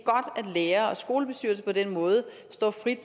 lærere og skolebestyrelser på den måde står for frit